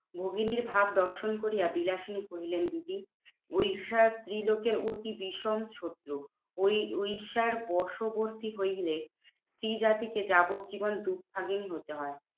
ভগিনীর ভাব দর্শন করিয়া বিলাসিনী কহিলেন, দিদি ঐশা ত্রিলোকে অতি বিষম ছিদ্র। ওই ঐশার বশবর্তী হইলে স্ত্রীজাতিকে যাবজ্জীবন দুর্ভাগিনী হতে হয়।